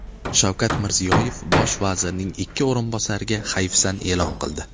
Shavkat Mirziyoyev Bosh vazirning ikki o‘rinbosariga hayfsan e’lon qildi.